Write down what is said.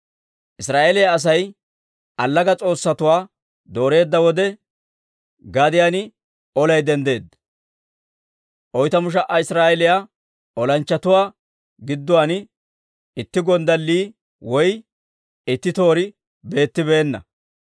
Israa'eeliyaa Asay allaga s'oossatuwaa dooreedda wode, gadiyaan olay denddeedda. Oytamu sha"a Israa'eeliyaa olanchchatuwaa gidduwaan itti gonddallii woy itti toori beettibeenna.